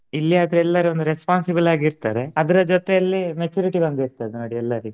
ಇಲ್ಲಿ ಆದ್ರೆ ಎಲ್ಲಾರು ಒಂದ್ responsible ಆಗಿರ್ತಾರೆ ಅದ್ರ ಜೊತೆಯಲ್ಲಿ maturity ಬಂದಿರ್ತದೆ. ಎಂತದು ನಡ್ಯೆಲ್ಲ ರಿ.